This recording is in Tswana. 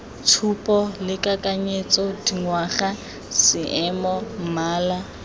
tshupo lekanyetsa dingwaga seemo mmala